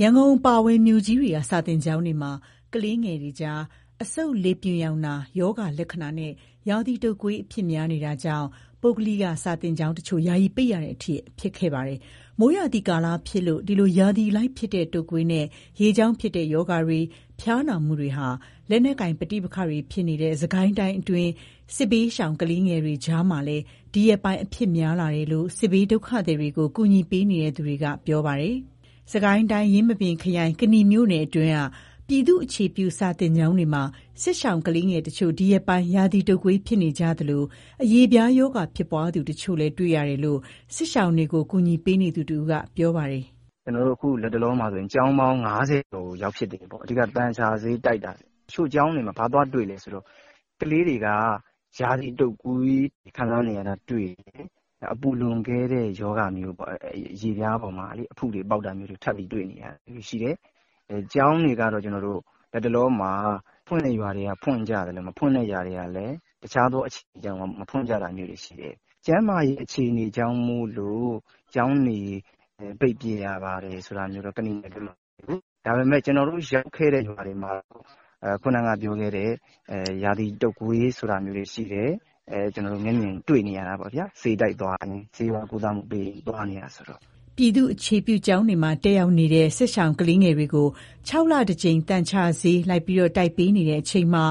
ရန်ကုန်အပါအဝင် မြို့ကြီးတွေက စာသင်ကျောင်းတွေမှာ ကလေးငယ်တွေကြား အဆုတ်လေပြွန်ရောင်နာ ရောဂါ လက္ခဏာနဲ့ ရာသီတုပ်ကွေး အဖြစ်များနေတာကြောင့် ပုဂ္ဂလိက စာသင်ကျောင်းတချို့ ယာယီ ပိတ်ရတဲ့အထိ ဖြစ်ခဲ့ပါတယ်။ မိုးရာသီကာလဖြစ်လို့ ဒီလို ရာသီအလိုက်ဖြစ်တဲ့ တုပ်ကွေးနဲ့ ရေကြောင့်ဖြစ်တဲ့ ရောဂါတွေ၊ ဖျားနာမှုတွေဟာ လက်နက်ကိုင်ပဋိပက္ခတွေ ဖြစ်နေတဲ့ စစ်ကိုင်းတိုင်းအတွင်းက စစ်ဘေးရှောင် ကလေးငယ်တွေကြားမှာလည်း ဒီရက်ပိုင်း အဖြစ်များလာတယ်လို့ စစ်ဘေးဒုက္ခသည်တွေကို ကူညီပေးနေသူတွေက ပြောပါတယ်။ စစ်ကိုင်းတိုင်း၊ ယင်းမာပင်ခရိုင်၊ ကနီမြို့နယ်တွင်းက ပြည်သူ့အခြေပြု စာသင်ကျောင်းတွေမှာ စစ်ရှောင်ကလေးငယ်တချို့ ဒီရက်ပိုင်း ရာသီတုပ်ကွေး ဖြစ်ကြသလို၊ အရေပြားရောဂါ ဖြစ်ပွားသူတချို့လည်း တွေ့ရတယ်လို့ စစ်ရှောင်တွေကို ကူညီပေးနေသူတဦးက ပြောပါတယ်။ "ကျနော်တို့ အခုလတ်တလောမှာ ကျောင်းပေါင်း ၅၀ ကျော်ကို ရောက်ဖြစ်တယ်ပေါ့။ အဓိကတော့ သန်ချဆေးတိုက်တာ။ တချို့ကျောင်းတွေမှာ ဘာသွားတွေ့လဲဆိုတော့ ကလေးတွေက ရာသီတုပ်ကွေး ခံစားနေရတာတွေ့တယ်။ နောက် အပူလွန်ကဲတဲ့ ရောဂါမျိုးပေါ့၊ အရေပြားပေါ်မှာ အဖုတွေပေါက်တာမျိုးတွေ ထပ်ပြီးတွေ့နေရတယ်။ ကျောင်းတွေကတော့ လတ်တလောမှာ ဖွင့်တဲ့ရွာတွေကလည်း ဖွင့်ကြသလို၊ မဖွင့်တဲ့ရွာတွေ ကလည်း တခြားသော အကြောင်းတွေကြောင့် မဖွင့်ကြတာမျိုးတွေ ရှိတယ်။ ကျန်းမာရေး အခြေအနေကြောင့်မို့လို့ ကျောင်းတွေ ပိတ်ပစ်ရပါတယ် ဆိုတာမျိုးတော့ ကနီမှာမရှိဘူး။ ဒါပေမဲ့ ကျနော်တို့ရောက်ခဲ့တဲ့ ရွာတွေမှာတော့ ခုနကပြောခဲ့တဲ့ ရာသီတုပ်ကွေး ဆိုတာမျိုးတွေ ရှိတယ်။ ဆေးဝါးကုသမှုပေးရင်း သွားနေရတာဆိုတော့ ကျနော်တို့ မျက်မြင်တွေ့တာပေါ့ဗျာ။" ပြည်သူ့အခြေပြု ကျောင်းတွေမှာ တက်ရောက်နေတဲ့ စစ်ရှောင်ကလေးငယ်တွေကို ၆ လတကြိမ် သန်ချဆေး လိုက်လံ တိုက်ပေးနေတဲ့ အချိန်မှာ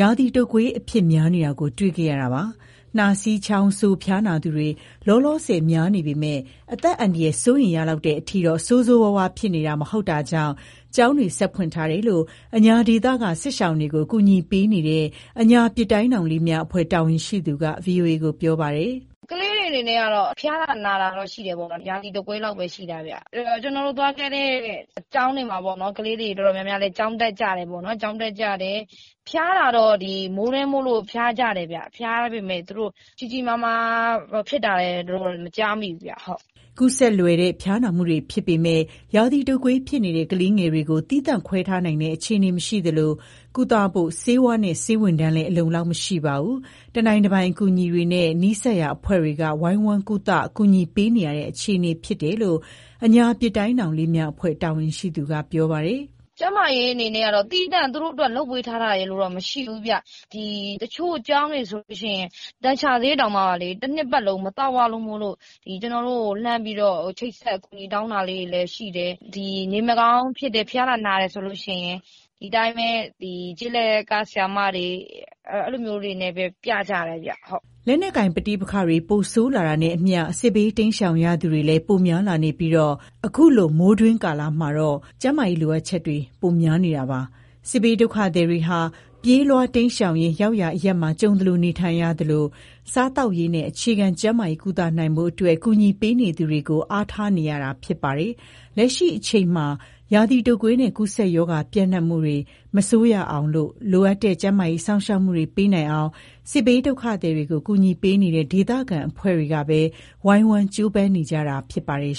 ရာသီ တုပ်ကွေး အဖြစ်များနေတာကို တွေ့ခဲ့ရတာပါ။ နှာစေး၊ ချောင်းဆိုး ဖျားနာသူတွေ လောလောဆယ် များနေပေမဲ့ အသက်အန္တရာယ် စိုးရိမ်ရလောက်တဲ့ အထိတော့ ဆိုးဆိုးရွားရွား ဖြစ်နေတာမျိုးမဟုတ်တာကြောင့် ကျောင်းတွေ လည်း ဆက်ဖွင့်ထားကြတယ်လို့ အညာဒေသက စစ်ရှောင်တွေကို ကူညီပေးနေတဲ့ အညာပစ်တိုင်းထောင်လေးများ အဖွဲ့တာဝန်ရှိသူက ဗွီအိုအေကို ပြောပါတယ်။ "ကလေးတွေ အနေနဲ့ကတော့ ဖျားနာတာတော့ ရှိတယ်ပေါ့နော်။ ရာသီတုပ်ကွေးလောက်ပဲ ရှိတာပေါ့။ အဖွဲ့အနေနဲ့ သွားခဲ့တဲ့ ကျောင်းတွေမှာလည်း ကလေးတွေ တော်တော်များများလည်း ကျောင်းတက်ကြတယ်။ ဖျားတာတော့ မိုးတွင်းမို့လို့ ဖျားကြတယ်။ ဖျားပေမဲ့ ကြီးကြီးမားမား ဖြစ်တာရယ်လို့တော့ မကြားမိဘူး။" ကူးစက်လွယ်တဲ့ ဖျားနာမှုတွေ ဖြစ်ပေမဲ့ ရာသီတုပ်ကွေး ဖြစ်နေတဲ့ ကလေးငယ်တွေကို သီးသန့် ခွဲထားနိုင်တဲ့ အခြေအနေ မရှိသလို၊ ကုသဖို့ ဆေးဝါးနဲ့ ဆေးဝန်ထမ်းတွေလည်း အလုံအလောက် မရှိပါဘူး။ တနိုင်တပိုင်အကူအညီတွေနဲ့ နီးစပ်ရာ အဖွဲ့တွေက ဝိုင်းဝန်း ကုသ ကူညီပေးနေရတဲ့ အခြေအနေ ဖြစ်တယ်လို့လည်း အညာပစ်တိုင်းထောင်လေးများ အဖွဲ့ တာဝန်ရှိသူက ပြောပါတယ်။ "ကျန်းမာရေး အနေနဲ့ကတော့ သူတို့အတွက်သီးသန့် လုပ်ပေးထားတာတော့ မရှိဘူး။ တချို့ကျောင်းတွေဆိုရင် သန်ချဆေးတောင်မှ တနှစ်ပတ်လုံး မသောက်ရလို့ အဖွဲ့ကိုချိတ်ဆက်ပြီး အကူအညီတောင်းတာလည်း ရှိတယ်။ နေမကောင်းဖြစ်တယ်၊ ဖျားနာတယ်ဆိုရင် ဒီအတိုင်းပဲ ကျေးလက်ကဆရာမတွေနဲ့ပဲ ပြကြတယ်။" လက်နက်ကိုင် ပဋိပက္ခတွေ ပိုမို ဆိုးရွားလာတာနဲ့အမျှ စစ်ဘေး တိမ်းရှောင်ရသူတွေလည်း ပိုများလာနေပြီး ခုလို မိုးတွင်းကလာမှာတော့ ကျန်းမာရေး လိုအပ်ချက်တွေ ပိုများလာနေတာပါ။ စစ်ဘေးဒုက္ခသည်တွေဟာ ပြေးလွှားတိမ်းရှောင်ရင်း ရောက်ရာအရပ်မှာ ကြုံသလို နေထိုင်ကြရသလို၊ စားသောက်ရေးနဲ့ အခြေခံကျန်းမာရေး ကုသနိုင်ဖို့အတွက် ကူညီပေးနေသူတွေကိုပဲ အားထားနေရတာ ဖြစ်ပါတယ်။ လက်ရှိအချိန်မှာ ရာသီတုပ်ကွေးနဲ့ ကူးစက်ရောဂါ ပြန့်ပွားမှုတွေ ပိုပြီး မဆိုးရအောင်နဲ့ လိုအပ်တဲ့ ကျန်းမာရေးစောင့်ရှောက်မှုတွေ ပေးနိုင်အောင် စစ်ဘေးဒုက္ခသည်တွေကို ကူညီပေးနေတဲ့ ဒေသခံအဖွဲ့တွေကပဲ ဝိုင်းဝန်းကြိုးပမ်းနေကြတာ ဖြစ်ပါတယ်